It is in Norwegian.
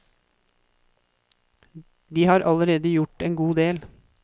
De har allerede gjort en god del.